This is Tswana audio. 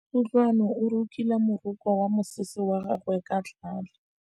Kutlwanô o rokile morokô wa mosese wa gagwe ka tlhale.